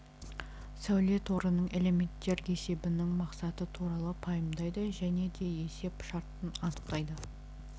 сәуле торының элементтер есебінің мақсаты туралы пайымдайды және де есеп шартын анықтайды